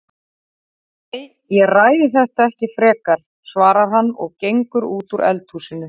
Nei, ég ræði þetta ekki frekar, svarar hann og gengur út úr eldhúsinu.